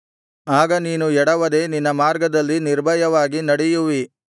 ಆಗ ನೀನು ಎಡವದೆ ನಿನ್ನ ಮಾರ್ಗದಲ್ಲಿ ನಿರ್ಭಯವಾಗಿ ನಡೆಯುವಿ